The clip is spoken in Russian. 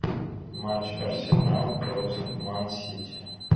матч арсенал против ман сити